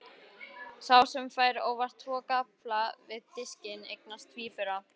Sá sem fær óvart tvo gaffla við diskinn eignast tvíbura.